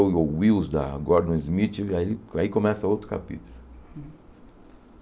yoyo Wheels, da Gordon Smith, aí aí começa outro capítulo.